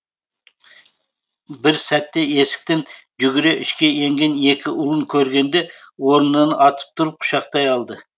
бір сәтте есіктен жүгіре ішке енген екі ұлын көргенде орнынан атып тұрып құшақтай алды